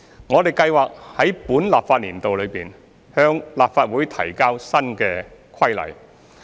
我們計劃在本立法年度內，向立法會提交新規例。